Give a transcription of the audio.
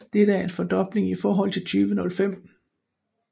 Dette er en fordobling i forhold til 2005